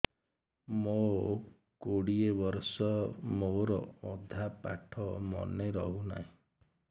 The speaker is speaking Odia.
ମୋ କୋଡ଼ିଏ ବର୍ଷ ମୋର ଅଧା ପାଠ ମନେ ରହୁନାହିଁ